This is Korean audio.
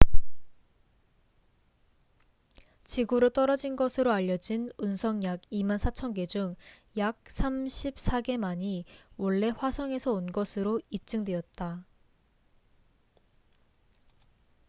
지구로 떨어진 것으로 알려진 운석 약 24,000개 중 약 34개만이 원래 화성에서 온 것으로 입증되었다